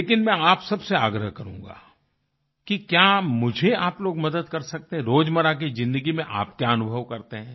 लेकिन मैं आप सबसे आग्रह करूँगा कि क्या मुझे आप लोग मदद कर सकते है रोजमर्रा की ज़िन्दगी में आप क्या अनुभव करते हैं